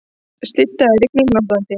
Slydda eða rigning norðantil